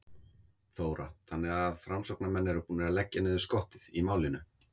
Þóra: Þannig að framsóknarmenn eru búnir að leggja niður skottið í málinu?